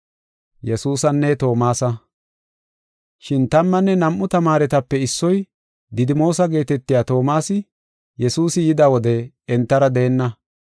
Shin tammanne nam7u tamaaretape issoy, Didimoosa geetetiya Toomasi, Yesuusi yida wode entara deenna.